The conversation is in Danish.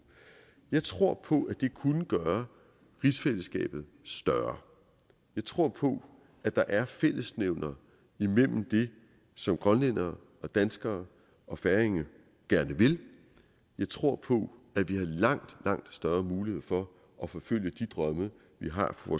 jeg tror på at det kunne gøre rigsfællesskabet større jeg tror på at der er fællesnævnere imellem det som grønlændere og danskere og færinger gerne vil jeg tror på at vi har langt langt større mulighed for at forfølge de drømme vi har for